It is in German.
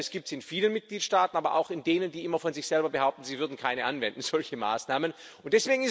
Das gibt es in vielen Mitgliedstaaten, aber auch in denen, die immer von sich selber behaupten, sie würden keine solche Maßnahmen anwenden.